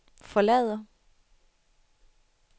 forlader